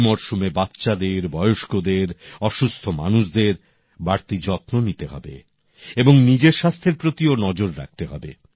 এই মরশুমে বাচ্চাদের বয়স্কদের অসুস্থ মানুষদের বাড়তি যত্ন নিতে হবে এবং নিজের স্বাস্থ্যের প্রতিও নজর রাখতে হবে